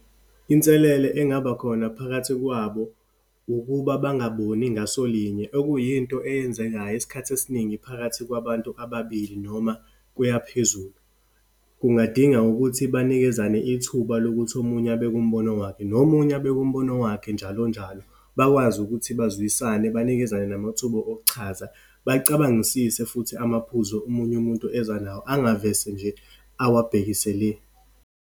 Inselele engaba khona phakathi kwabo, ukuba bangaboni ngasolinye, okuyinto eyenzekayo isikhathi esiningi phakathi kwabantu ababili noma kuya phezulu. Kungadinga ukuthi banikezana ithuba lokuthi omunye abeke umbono wakhe, nomunye abeke umbono wakhe njalonjalo. Bakwazi ukuthi bazwisane, banikezane namathuba okuchaza, bacabangisise futhi amaphuzu omunye umuntu eza nawo, angavese nje awabhekise le.